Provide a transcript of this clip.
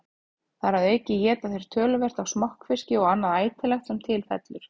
Þar að auki éta þeir töluvert af smokkfiski og annað ætilegt sem til fellur.